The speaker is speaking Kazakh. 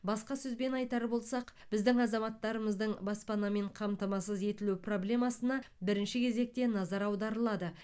басқа сөзбен айтар болсақ біздің азаматтармыздың баспанамен қамтамасыз етілу проблемасына бірінші кезекте назар аударылады